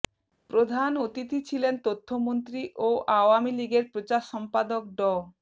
প্রধান অতিথি ছিলেন তথ্যমন্ত্রী ও আওয়ামী লীগের প্রচার সম্পাদক ড